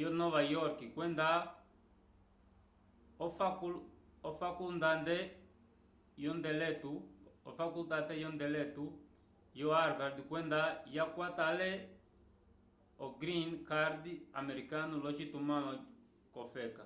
yonova yorke kwenda ofakulndande yondiletu yo harvard kwenda yakwata ale o green card americano l'ocitumãlo k'ofeka